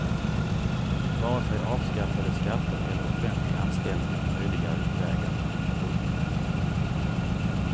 Vare sig avskaffade skatter eller offentlig anställning är möjliga utvägar. punkt